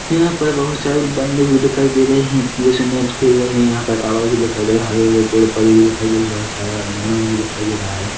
यहाँ पर बहोत सारे बंदे भी दिखाई दे रहे हैं जैसे मैच खेल रहे हैं यहाँ पर टावर भी दिखाई दे रहा है हरे भरे पेड़ पौधे भी दिखाई दे रहे हैं बहोत सारे मैनवाल भी दिखाई दे रहा है।